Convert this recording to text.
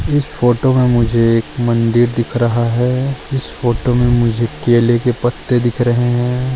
इस फोटो में मुझे एक मंदिर दिख रहा है इस फोटो में मुझे केले के पत्ते दिख रहे है।